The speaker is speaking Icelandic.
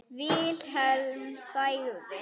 Vilhelm þagði.